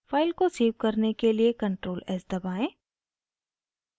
file को save करने के लिए ctrl + s दबाएं